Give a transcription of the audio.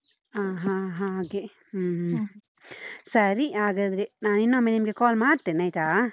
ಹ ಹ ಹಾಗೆ. ಹು ಸರಿ, ಹಾಗಾದ್ರೆ ನಾ ಇನ್ನೊಮ್ಮೆ ನಿಮ್ಗೆ call ಮಾಡ್ತೇನೆ ಆಯ್ತಾ.